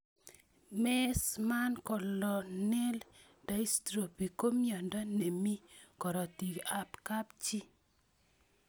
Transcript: Meesmann corneal dystrophy ko miondo ne mii korotik ab kapchii